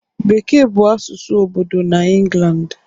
Bekee bụ asụsụ obodo na England